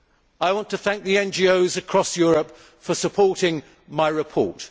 I want to thank the NGOs across Europe for supporting my report.